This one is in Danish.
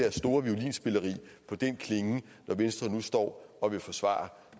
store violinspilleri når venstre nu står og vil forsvare